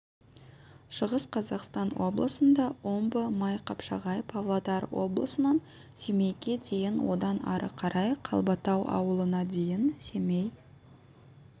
шығыс қазақстан облысында омбы майқапшағай павлодар обласынан семейге дейін одан ары қарай қалбатау ауылына дейін семей